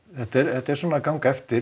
þetta er svona að ganga eftir